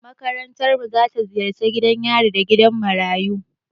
Makarantarmu za ta ziyarci gidan yari da gidan marayu.